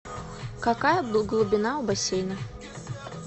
какая глубина у бассейна